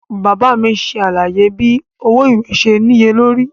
Baba mi ṣe alaye bi owo iwe ṣe niyelori.